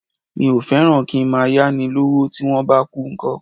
Mi ò fẹ́ràn kí ń máa yá ni lọ́wọ́, tí wón bá kú ńkọ́?